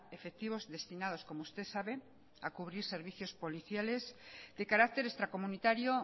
efectivos destinados como usted sabe a cubrir servicios policiales de carácter extracomunitario